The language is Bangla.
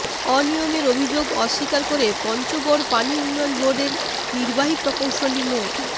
অনিয়মের অভিযোগ অস্বীকার করে পঞ্চগড় পানি উন্নয়ন বোর্ডের নির্বাহী প্রকৌশলী মো